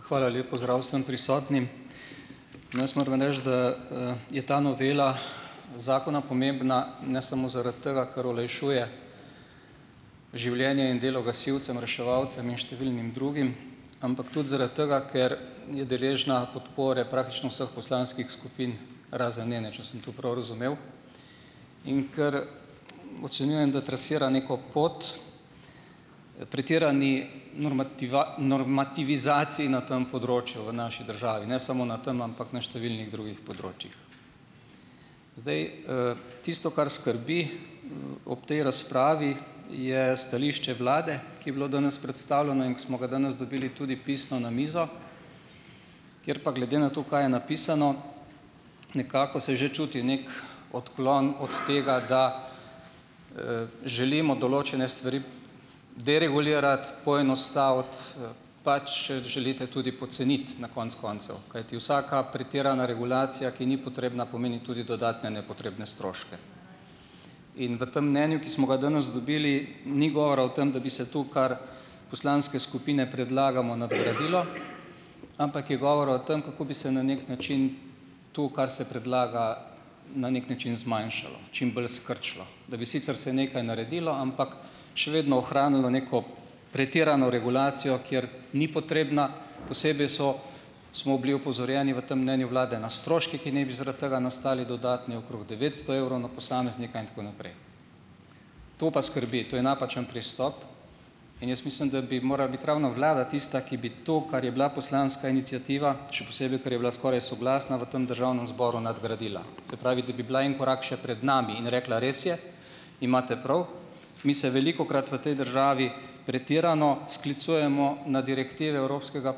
Hvala. Lep pozdrav vsem prisotnim. Jaz moram reči, da, je ta novela zakona pomembna ne samo zaradi tega, ker olajšuje življenje in delo gasilcem, reševalcem in številnim drugim, ampak tudi zaradi tega, ker je deležna podpore praktično vseh poslanskih skupin, razen ene, če sem to prav razumel. In ker ocenjujem, da trasira neko pot pretirani normativizaciji na tem področju v naši državi. Ne samo na tam, ampak na številnih drugih področjih. Zdaj, tisto, kar skrbi, ob tej razpravi, je stališče vlade, ki je bilo danes predstavljeno in ki smo ga danes dobili tudi pisno na mizo. Ker pa glede na to, kaj je napisno, nekako se že čuti neki odklon od tega, da, želimo določene stvari deregulirati, poenostaviti, pač, če želite, tudi poceniti, na konec koncev. Kajti vsaka pretirana regulacija, ki ni potrebna, pomeni tudi dodatne nepotrebne stroške. In v tem mnenju, ki smo ga danes dobili, ni govora o tem, da bi se tu, kar poslanske skupine predlagamo, nadgradilo, ampak je govora o tam, kako bi se na neki način, to kar se predlaga, na neki način zmanjšalo. Čim bolj skrčilo. Da bi sicer se nekaj naredilo, ampak še vedno ohranilo neko pretirano regulacijo, kjer ni potrebna. Posebej so smo bili opozorjeni v tem mnenju vlade na stroške, ki naj bi zaradi tega nastali dodatni, okrog devetsto evrov na posameznika in tako naprej. To pa skrbi. To je napačen pristop. In jaz mislim, da bi morala biti ravno vlada tista, ki bi to, kar je bila poslanska iniciativa, še posebej, ker je bila skoraj soglasna v tem državnem zboru, nadgradila. Se pravi, da bi bila en korak še pred nami in rekla, res je, imate prav, mi se velikokrat v tej državi pretirano sklicujemo na direktive evropskega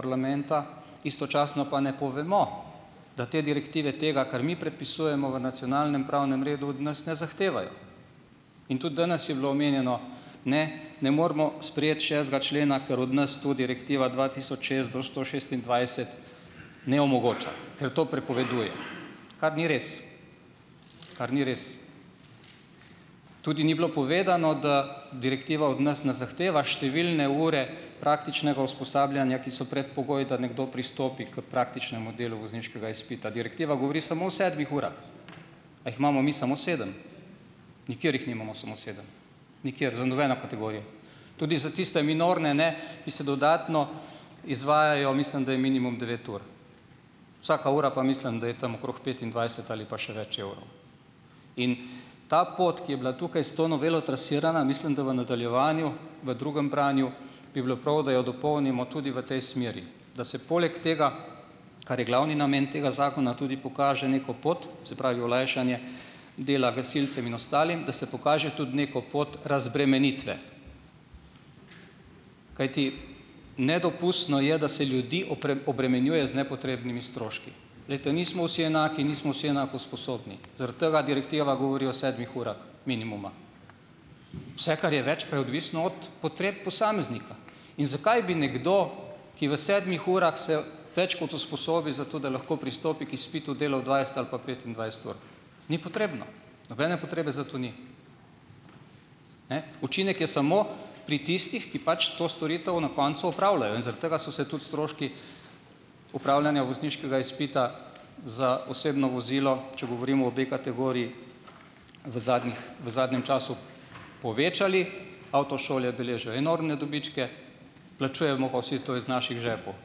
parlamenta, istočasno pa ne povemo, da te direktive, tega, kar mi predpisujemo v nacionalnem pravnem redu, od nas ne zahtevajo. In tudi danes je bilo omenjeno, ne, ne moremo sprejeti šestega člena, ker od nas to direktiva dva tisoč šest do sto šestindvajset ne omogoča. Ker to prepoveduje. Kar ni res. Kar ni res. Tudi ni bilo povedano, da direktiva od nas ne zahteva številne ure praktičnega usposabljanja, ki so predpogoj, da nekdo pristopi k praktičnemu delu vozniškega izpita. Direktiva govori samo o sedmih urah. A jih imamo mi samo sedem? Nikjer jih nimamo samo sedem. Nikjer. Za nobeno kategorijo. Tudi za tiste minorne ne, ki se dodatno izvajajo, mislim da je minimum devet ur. Vsaka ura pa mislim, da je tam okrog petindvajset ali pa še več evrov. In ta pot, ki je bila tukaj s to novelo trasirana, mislim, da v nadaljevanju v drugem branju, bi bilo prav, da jo dopolnimo tudi v tej smeri. Da se poleg tega, kar je glavni namen tega zakona, tudi pokaže neko pot, se pravi olajšanje dela gasilcem in ostalim, da se pokaže tudi neko pot razbremenitve. Kajti nedopustno je, da se ljudi obremenjuje z nepotrebnimi stroški. Glejte, nismo vsi enaki, nismo vsi enako sposobni. Zaradi tega direktiva govori o sedmih urah minimuma. Vse, kar je več, pa je odvisno od potreb posameznika. In zakaj bi nekdo, ki v sedmih urah se več kot usposobi za to, da lahko pristopi k izpitu, delal dvajset ali pa petindvajset ur. Ni potrebno, nobene potrebe za to ni. Ne. Učinek je samo pri tistih, ki pač to storitev na koncu opravljajo. In zaradi tega so se tudi stroški opravljanja vozniškega izpita za osebno vozilo, če govorim o B-kategoriji, v zadnjih v zadnjem času povečali. Avtošole beležijo enormne dobičke, plačujemo pa vsi to iz naših žepov,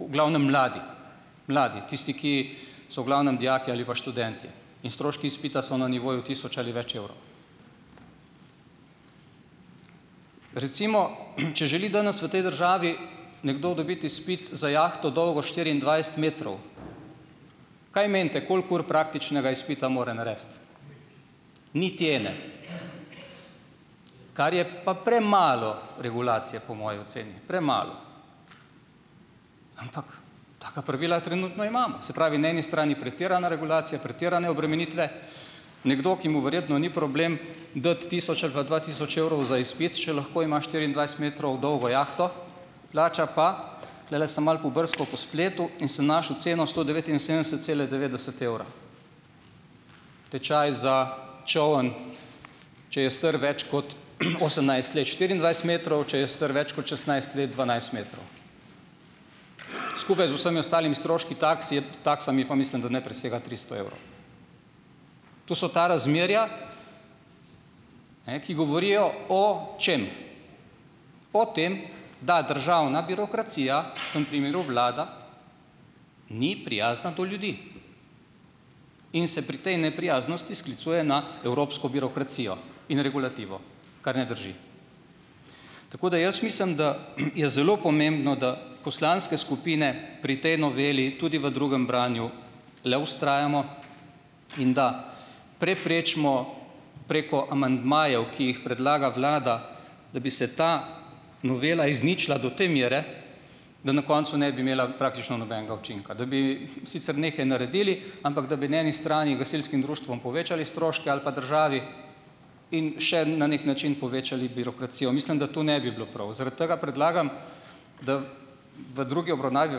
v glavnem mladi. Mladi, tisti, ki so v glavnem dijaki ali pa študentje in stroški izpita so na nivoju tisoč ali več evrov. Recimo, če želi danes v tej državi nekdo dobiti izpit za jahto dolgo štiriindvajset metrov, kaj menite koliko ur praktičnega izpita mora narediti? Niti ene, kar je pa premalo regulacije, po moji oceni, premalo. Ampak taka pravila trenutno imamo. Se pravi, na eni strani pretirana regulacija, pretirane obremenitve. Nekdo, ki mu verjetno ni problem dati tisoč ali pa dva tisoč evrov za izpit, če lahko ima štiriindvajset metrov dolgo jahto, plača pa, tulele sem malo pobrskal po spletu in sem našel ceno sto devetinsedemdeset cela devetdeset evra, tečaj za čoln, če je star več kot, osemnajst let, štiriindvajset metrov, če je star več kot šestnajst let, dvanajst metrov. Skupaj z vsemi ostalimi stroški taksami pa mislim, da ne presega tristo evrov. To so ta razmerja, ne, ki govorijo o - čem? O tem, da državna birokracija, v tem primeru vlada, ni prijazna do ljudi in se pri tej neprijaznosti sklicuje na evropsko birokracijo in regulativo, kar ne drži. Tako da jaz mislim, da, je zelo pomembno, da poslanske skupine pri tej noveli tudi v drugem branju le vztrajamo in da preprečimo preko amandmajev, ki jih predlaga vlada, da bi se ta novela izničila do te mere, da na koncu ne bi imela praktično nobenega učinka, da bi sicer nekaj naredili, ampak da bi na eni strani gasilskim društvom povečali stroške ali pa državi in še na neki način povečali birokracijo. Mislim, da to ne bi bilo prav. Zaradi tega predlagam, da v drugi obravnavi,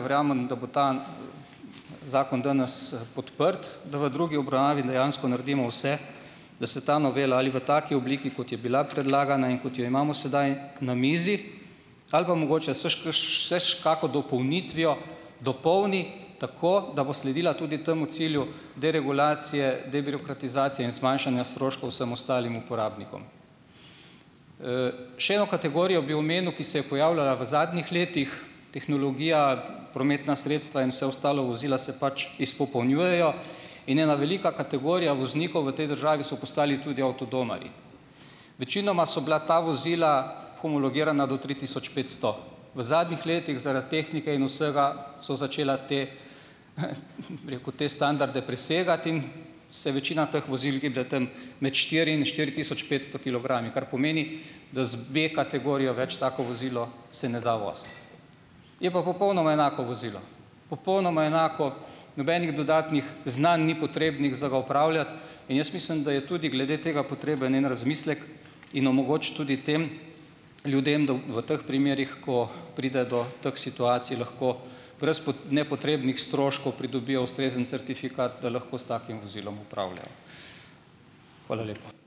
verjamem, da bo ta zakon danes podprt, da v drugi obravnavi dejansko naredimo vse, da se ta novela ali v taki obliki, kot je bila predlagana in kot jo imamo sedaj na mizi, ali pa mogoče še s kako dopolnitvijo dopolni tako, da bo sledila tudi temu cilju deregulacije, debirokratizacije in zmanjšanja stroškov vsem ostalim uporabnikom. Še eno kategorijo bi omenil, ki se je pojavljala v zadnjih letih, tehnologija, prometna sredstva in vse ostalo, vozila se pač izpopolnjujejo, in ena velika kategorija voznikov tej državi so postali tudi avtodomarji. Večinoma so bila ta vozila homologirana do tri tisoč petsto. V zadnjih letih zaradi tehnike in vsega so začela te, bi rekel, te standarde presegati in se večina teh vozil giblje tam med štiri in štiri tisoč petsto kilogrami. Kar pomeni, da z B-kategorijo več tako vozilo se ne da voziti. Je pa popolnoma enako vozilo, popolnoma enako, nobenih dodatnih znanj ni potrebnih za ga upravljati. In jaz mislim, da je tudi glede tega potreben en razmislek in omogočiti tudi tem ljudem, da v teh primerih, ko pride do teh situacij lahko brez nepotrebnih stroškov, pridobijo ustrezen certifikat, da lahko s takim vozilom upravljajo. Hvala lepa.